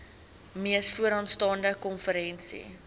mees vooraanstaande konferensie